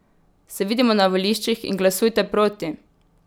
Se vidimo na voliščih in glasujte proti!